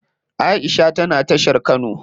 Aisha tana tashar kano.